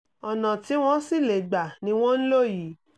ọ̀nà tí wọ́n sì lè gba ni wọ́n ń lò yìí